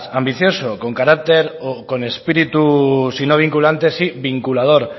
ambicioso con carácter o con espíritu si no vinculante sí vinculador